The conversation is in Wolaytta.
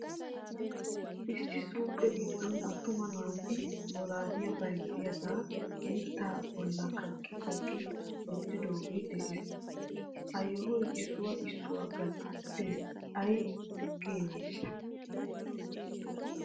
Ossi suuke giddon attuma naatu bollaliya bayzziyooga mitta bolla kaqqi kaqqi wottidoogee de'ees. Hehayyo issuwaw issuwaw gatee ay keeneshshe ?